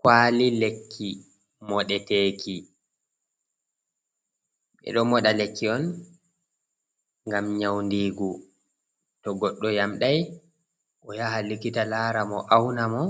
Kwali lekki moɗeteki, ɓeɗo moɗa lekki on ngam nyaundigu, to goɗɗo yamɗai o yaha likkita lara mo, auna mo,